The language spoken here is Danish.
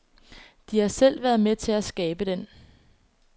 De har selv været med til at skabe den.